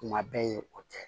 Kuma bɛɛ ye o tɛ